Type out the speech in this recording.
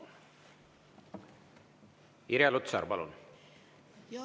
Irja Lutsar, palun!